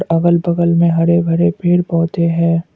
अगल बगल में हरे भरे पेड़ पौधे हैं।